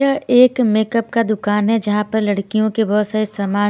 यह एक मेकअप का दुकान है जहां पर लड़कियों के बहुत सारे सामान--